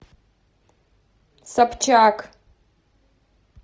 собчак